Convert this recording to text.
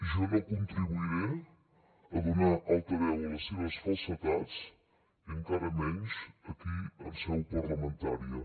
jo no contribuiré a donar altaveu a les seves falsedats i encara menys aquí en seu parlamentària